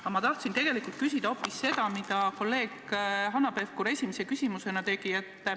Aga ma tahan tegelikult küsida hoopis seda, mida kolleeg Hanno Pevkur esimese küsimusena küsis.